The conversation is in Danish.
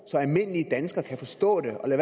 så almindelige danskere kan forstå det og lad